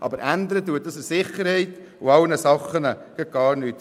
Aber an der Sicherheit ändert sich da gar nichts.